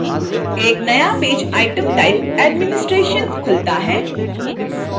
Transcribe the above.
एक नया page item types administration खुलता है